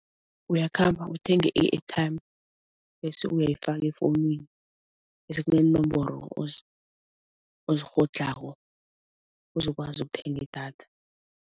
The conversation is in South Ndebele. Uyakhamba uthenge i-airtime bese uyayifaka efonini bese kuneenomboro ozikghodlhako uzokwazi ukuthenga idatha.